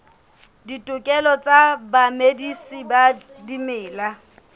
ditokelo tsa bamedisi ba dimela